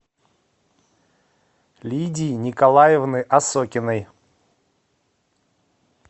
лидии николаевны осокиной